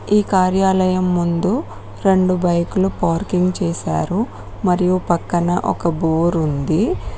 ఈ కార్యాలయం ముందు రెండు బైకులు పార్కింగ్ చేశారు మరియు పక్కన ఒక బోర్ ఉంది.